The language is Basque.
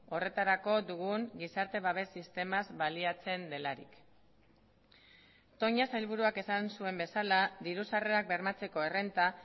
horretarako dugun gizarte babes sistemaz baliatzen delarik toña sailburuak esan zuen bezala diru sarrerak bermatzeko errenta